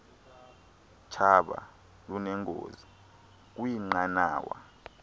tshaba lunengozi kwiinqanawa